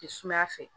Te sumaya fɛ